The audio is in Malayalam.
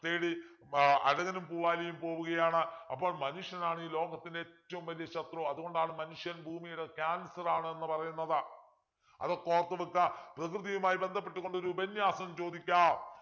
തേടി ആഹ് അഴകനും പൂവാലിയും പോവുകയാണ് അപ്പോൾ മനുഷ്യനാണ് ഈ ലോകത്തിലെ ഏറ്റവും വലിയ ശത്രു അതുകൊണ്ടാണ് മനുഷ്യൻ ഭൂമിയുടെ cancer ആണെന്ന് പറയുന്നത് അതൊക്കെ ഓർത്തു വെക്കാ പ്രകൃതിയുമായി ബന്ധപ്പെട്ടുകൊണ്ട് ഒരു ഉപന്യാസം ചോദിക്കാം